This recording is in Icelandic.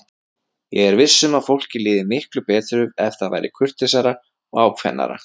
Ég er viss um að fólki liði miklu betur ef það væri kurteisara og ákveðnara.